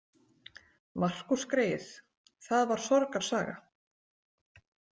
Markús greyið, það var sorgarsaga.